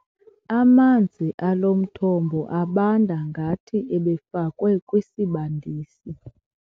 Amanzi alo mthombo abanda ngathi ebefakwe kwisibandisi.